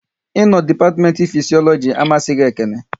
Ị no dipatiment Fisiologi amasịghi Ekene